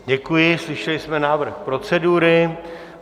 Děkuji, slyšeli jsme návrh procedury.